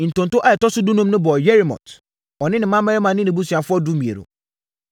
Ntonto a ɛtɔ so dunum no bɔɔ Yeremot, ɔne ne mmammarima ne nʼabusuafoɔ (12)